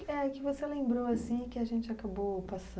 Que você lembrou assim e que a gente acabou passando,